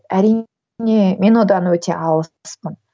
әрине мен одан өте алыспын